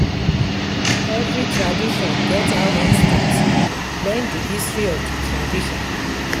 Every tradition get how in start, learn di history of the tradition